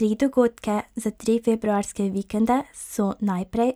Tri dogodke za tri februarske vikende so najprej,